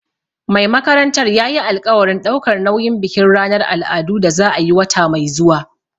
Mai makarantar yayi alƙawarin ɗaukar nauyin bikin ranar al'adu da za a yi wata mai zuwa